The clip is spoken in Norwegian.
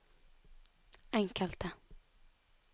enkelte